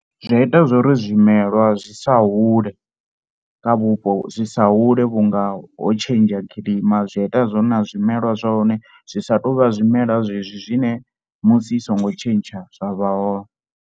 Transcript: Zwi a ita zwo ri zwimelwa zwi sa hule kha vhupo zwi sa hule vhunga ho tshentsha kilima. Zwi a ita na zwo ri na zwimelwa zwa hone zwi sa tou vha zwimela zwezwi zwine musi i songo tshentsha zwa vha hone.